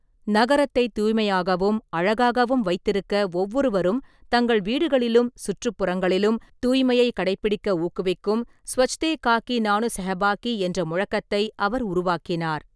நகரத்தை தூய்மையாகவும், அழகாகவும் வைத்திருக்க ஒவ்வொருவரும் தங்கள் வீடுகளிலும், சுற்றுப்புறங்களிலும் தூய்மையை கடைப்பிடிக்க ஊக்குவிக்கும் 'ஸ்வச்தேகாகி நானு சஹபாகி' என்ற முழக்கத்தை அவர் உருவாக்கினார்.